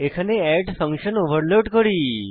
এখানে add function overload করি